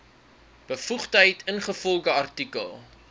bevoegdheid ingevolge artikel